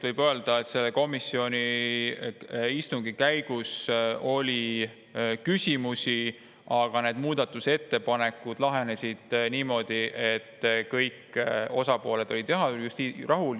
Võib öelda, et komisjoni istungil oli küsimusi, aga need muudatusettepanekud lahenesid niimoodi, et kõik osapooled olid rahul.